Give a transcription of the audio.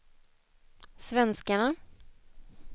svenskarna